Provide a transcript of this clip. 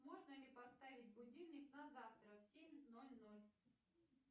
можно ли поставить будильник на завтра в семь ноль ноль